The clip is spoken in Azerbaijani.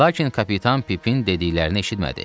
Lakin kapitan Pipin dediklərini eşitmədi.